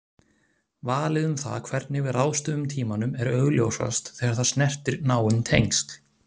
Valið um það hvernig við ráðstöfum tímanum er augljósast þegar það snertir náin tengsl.